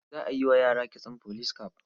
Za a yi wa yara kitson police cap.